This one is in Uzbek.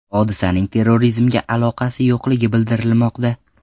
Hodisaning terrorizmga aloqasi yo‘qligi bildirilmoqda.